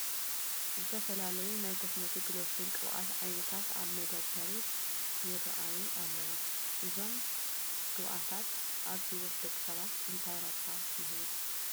ዝተፈላለዩ ናይ ኮስሞቲክ፣ ሎሽንን ቅብኣትን ዓይነታት ኣብ መደርደሪ ይርአዩ ኣለዉ፡፡ እዞም ግብኣታት ኣብ ህይወት ደቂ ሰባት እንታይ ዓይነት ረብሓ ይህቡ?